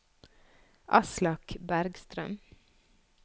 Aslak Bergstrøm